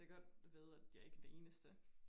Det godt at vide at jeg ikke den eneste